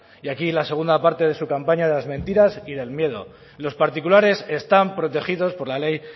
y aquí la segunda parte de su campaña de las mentiras y del miedo los particulares están protegidos por la ley